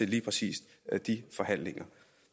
lige præcis de forhandlinger